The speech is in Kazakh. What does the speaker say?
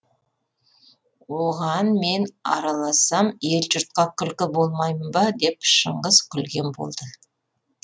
оған мен аралассам ел жұртқа күлкі болмаймын ба деп шыңғыс күлген болды